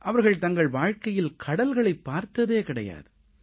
அவர்கள் தங்கள் வாழ்கையில் கடல்களைப் பார்த்ததே கிடையாது